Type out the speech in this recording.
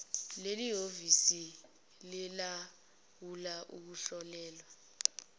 lelihhovisi lilawula ukuhlolelwa